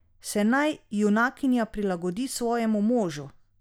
Se naj junakinja prilagodi svojemu možu?